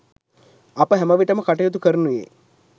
අප හැමවිටම කටයුතු කරනුයේ